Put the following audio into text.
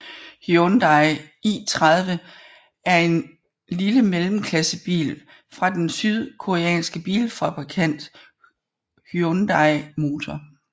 Hyundai i30 er en lille mellemklassebil fra den sydkoreanske bilfabrikant Hyundai Motor